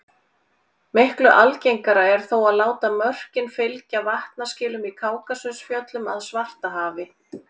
miklu algengara er þó að láta mörkin fylgja vatnaskilum í kákasusfjöllum að svartahafi